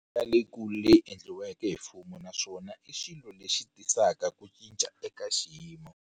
Leyikulu leyi end liweke hi mfumo naswona i xilo lexi tisaka ku cinca ka xiyimo.